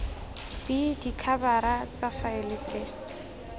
b dikhabara tsa faele tse